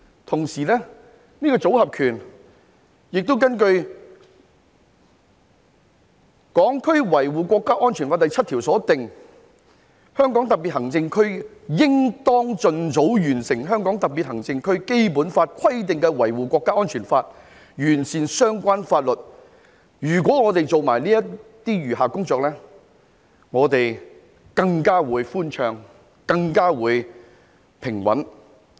此外，關於這套"組合拳"，根據《香港國安法》第七條所訂，"香港特別行政區應當儘早完成香港特別行政區基本法規定的維護國家安全立法，完善相關法律"，如果我們做好這些餘下的工作，我們的道路便會更寬暢、更平穩。